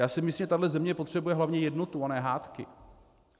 Já si myslím, že tahle země potřebuje hlavně jednotu a ne hádky.